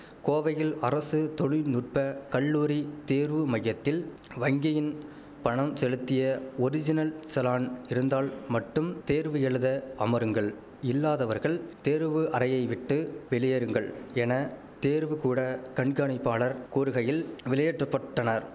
கோவையில் அரசு தொழிற் நுற்ப கல்லூரி தேர்வு மையத்தில் வங்கியின் பணம் செலுத்திய ஒரிஜினல் சலான் இருந்தால் மட்டும் தேர்வு எழுத அமருங்கள் இல்லாதவர்கள் தேர்வு அறையை விட்டு வெளியேறுங்கள் என தேர்வுகூட கண்காணிப்பாளர் கூறுகையில் வெளியேற்ற பட்டனர்